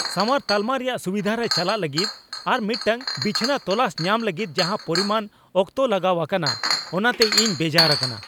ᱥᱟᱶᱟᱨ ᱛᱟᱞᱢᱟ ᱨᱮᱭᱟᱜ ᱥᱩᱵᱤᱫᱷᱟ ᱨᱮ ᱪᱟᱞᱟᱜ ᱞᱟᱹᱜᱤᱫ ᱟᱨ ᱢᱤᱫᱴᱟᱝ ᱵᱤᱪᱷᱱᱟᱹ ᱛᱚᱞᱟᱥ ᱧᱟᱢ ᱞᱟᱹᱜᱤᱫ ᱡᱟᱦᱟᱸ ᱯᱚᱨᱤᱢᱟᱱ ᱚᱠᱛᱚ ᱞᱟᱜᱟᱣ ᱟᱠᱟᱱᱟ ᱚᱱᱟᱛᱮ ᱤᱧ ᱵᱮᱡᱟᱨ ᱟᱠᱟᱱᱟ ᱾